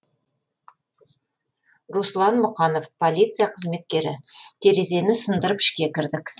руслан мұқанов полиция қызметкері терезені сындырып ішке кірдік